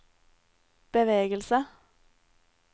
bevegelse